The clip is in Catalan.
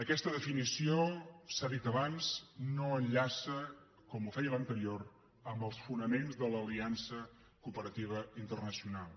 aquesta definició s’ha dit abans no enllaça com ho feia l’anterior amb els fonaments de l’aliança cooperativa internacional